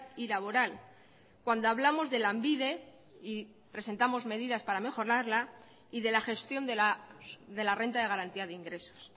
y laboral cuando hablamos de lanbide y presentamos medidas para mejorarla y de la gestión de la renta de garantía de ingresos